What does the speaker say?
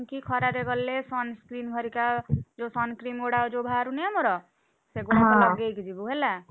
ଖରା ରେ ଗଲେ sunscrean ହରିକା ଯୋଉ sunscreen ଗୁଡାକ ବାହାରୁନି ଆମର ସେଗୁଡାକ ଲଗେଇକି ଯିବୁ ହେଲା।